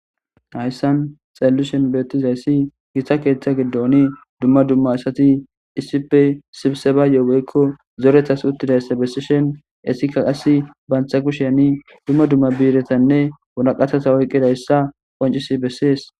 ayssan xallushen beettizayssi gita keeththa gidooni dumma dumma asati issife sibseba yoogeykko zoretas uttidayssa bessishen esika qasi bantha kusheyani dumma dumma biiretanne wulaqatasa woyqqidayssa qoncisi bessees